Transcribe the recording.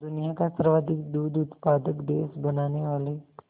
दुनिया का सर्वाधिक दूध उत्पादक देश बनाने वाले